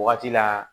Wagati la